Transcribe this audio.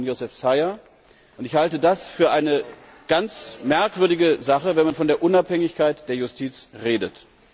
Es ist die Frau von József Szájer, und ich halte das für eine ganz merkwürdige Sache, wenn man von der Unabhängigkeit der Justiz redet.